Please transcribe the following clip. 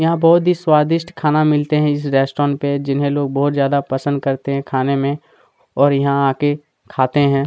यहाँ बहुत ही स्वादिष्ट खाना मिलते है इस रेस्ट्रोरेंट पे जिन्हैं लोग बहुत ज्यादा पसंद करते है खाने में और इहा आके खाते हैं।